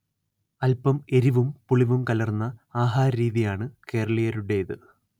അല്പം എരിവും പുളിവും കലർന്ന ആഹാരരീതിയാണ് കേരളീയരുടേത്